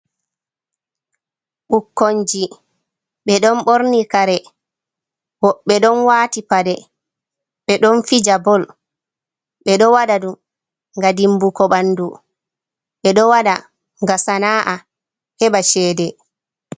Ɓukkonji. Ɓe ɗon ɓorni kare, woɓɓe ɗon waati paɗe, ɓe ɗon fija bol. Ɓe ɗo waɗa ɗum nga dimbuko ɓandu, ɓe ɗo waɗa nga sana'a, heɓa cede.